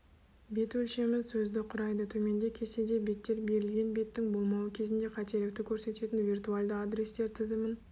бет өлшемі сөзді құрайды төменде кестеде беттер берілген беттің болмауы кезінде қателікті көрсететін виртуальды адрестер тізімін